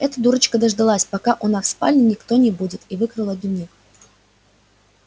эта дурочка дождалась пока у вас в спальне никого не будет и выкрала дневник